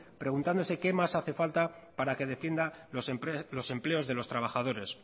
preguntándose qué más hace falta para que defienda los empleos de los trabajadores